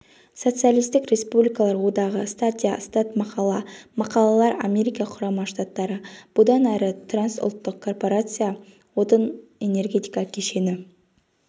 социалистік республикалар одағы статья статмақала мақалалар америка құрама штаттары бұдан әрі трансұлттық корпорация отын-энергетика кешені